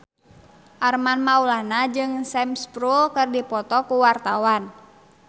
Armand Maulana jeung Sam Spruell keur dipoto ku wartawan